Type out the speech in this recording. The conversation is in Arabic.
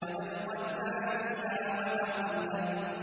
وَأَلْقَتْ مَا فِيهَا وَتَخَلَّتْ